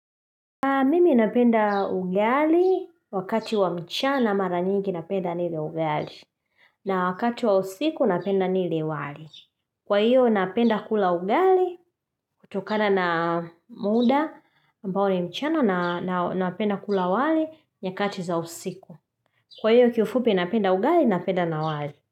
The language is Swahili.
Mimi napenda ugali wakati wa mchana mara nyingi napenda nile ugali. Na wakati wa usiku napenda nile wali. Kwa hiyo napenda kula ugali kutokana na muda ambao ni mchana na na napenda kula wali nyakati za usiku. Kwa hiyo hivyo fupi napenda ugali napenda na wali.